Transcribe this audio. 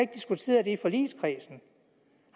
diskuteret det i forligskredsen